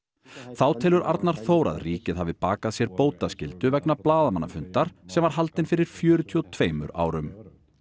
þá telur Arnar Þór að ríkið hafi bakað sér bótaskyldu vegna blaðamannafundar sem haldinn var fyrir fjörutíu og tveimur árum